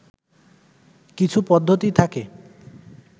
কিছু পদ্ধতি থাকে